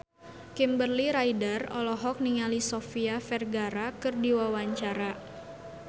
Kimberly Ryder olohok ningali Sofia Vergara keur diwawancara